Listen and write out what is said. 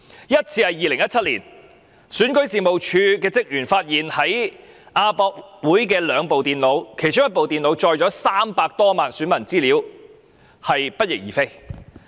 首次發生於2017年，選舉事務處職員發現在亞洲國際博覽館有兩部電腦不翼而飛，其中一部載有300多萬選民的資料。